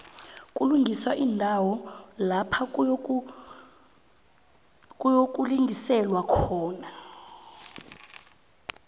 kulungiswa iindawo lapha kuyokulingiselwa khona